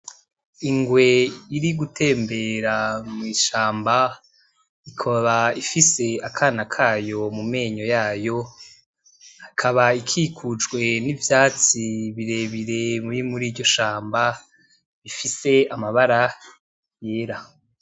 Ingwe iri gutembera mw'ishamba ikaba ifise akana kayo mu menyo yayo haka ikikujwe n'ivyatsi birebire biri muriryo shamba rifise amabara yera.